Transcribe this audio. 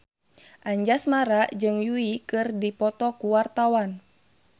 Anjasmara jeung Yui keur dipoto ku wartawan